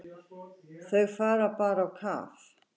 Þau fara bara á kaf.